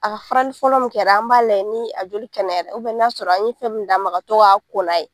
A ka farali fɔlɔ min kɛra an b'a layɛ ni a joli kɛnɛyara n'a sɔrɔ an ye fɛn minnu d'a ma ka to k'a ko n'a ye.